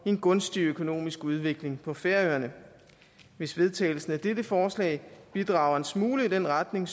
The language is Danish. en gunstig økonomisk udvikling på færøerne hvis vedtagelsen af dette forslag bidrager en smule i den retning